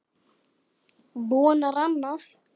Vonar annað.